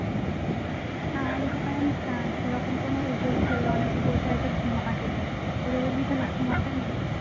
না আমাদের এখানে যেমন সেরকম কোন উপোষ করল উপস তো ঘুমতে নেই তোদের ওদিকে তাহলে ঘুমোতে নেই